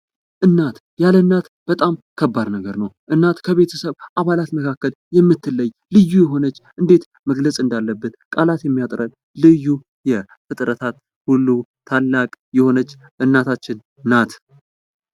እናት እናት ያለ እናት በጣም ከባድ ነገር ነው። እናት ከቤተሰብ አባላት መካከል የምትለይ ልዩ የሆነች እንዴት መግለጽ እንዳለብን ቃላት የሚያጥረን ልዩ የፍጥረታት ሁሉ ታላቅ የሆነች እናታችን ናት።